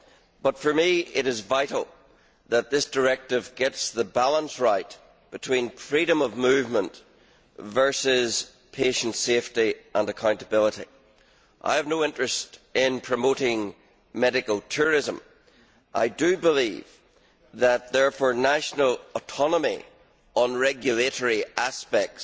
However, for me it is vital that this directive get the balance right between freedom of movement versus patient safety and accountability. I have no interest in promoting medical tourism and believe, therefore, that national autonomy over regulatory aspects